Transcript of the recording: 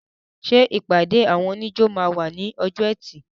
Ṣé ìpàdé àwọn oníjó máa wà ní ọjọ́ ẹtì?